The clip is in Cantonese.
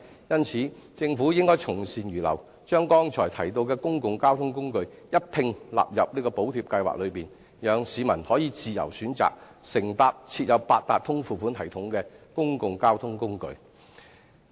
因此，政府應該從善如流，將剛才提到的公共交通工具一併納入補貼計劃內，讓市民可自由選擇乘搭設有八達通付款系統的公共交通工具。